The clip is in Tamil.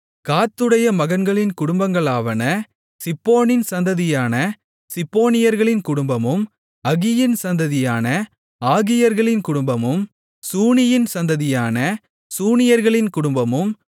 காத்துடைய மகன்களின் குடும்பங்களாவன சிப்போனின் சந்ததியான சிப்போனியர்களின் குடும்பமும் அகியின் சந்ததியான ஆகியர்களின் குடும்பமும் சூனியின் சந்ததியான சூனியர்களின் குடும்பமும்